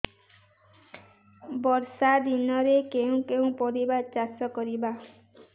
ବର୍ଷା ଦିନରେ କେଉଁ କେଉଁ ପରିବା ଚାଷ କରିବା